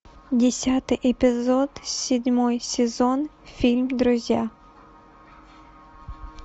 десятый эпизод седьмой сезон фильм друзья